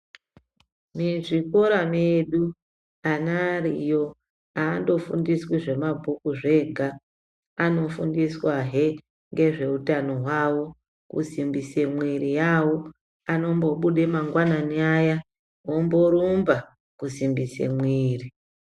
Mizvikora medu ana ariyo havandofundiswi zvemabhuku zvega. Anofundiswahe ngezvekutano hwawo kusimbise mwiri yawo. Anombobude mangwanani aya omborumba kusimbise mwiri.